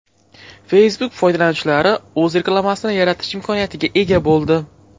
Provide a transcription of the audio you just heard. Facebook foydalanuvchilari o‘z reklamasini yaratish imkoniyatiga ega bo‘ldi.